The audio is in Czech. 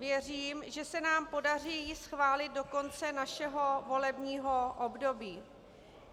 Věřím, že se nám ji podaří schválit do konce našeho volebního období.